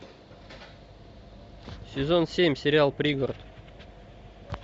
сезон семь сериал пригород